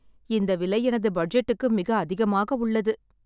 இந்த விலை எனது பட்ஜெட்டுக்கு மிக அதிகமாக உள்ளது.